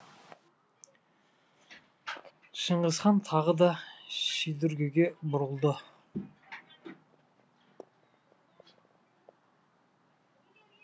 шыңғысхан тағы да шидүргеге бұрылды